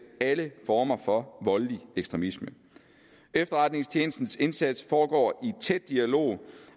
alle former for voldelig ekstremisme efterretningstjenestens indsats foregår i tæt dialog